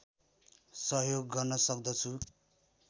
सहयोग गर्न सक्दछु